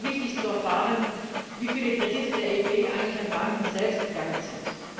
Es wäre auch wichtig zu erfahren, wie viele Kredite der EIB eigentlich an Banken selbst gegangen sind.